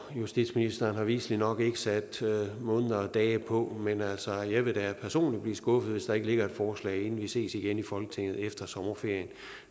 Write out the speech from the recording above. justitsministeren har viselig nok ikke sat måneder og dage på men altså jeg vil da personligt blive skuffet hvis der ikke ligger et forslag inden vi ses igen i folketinget efter sommerferien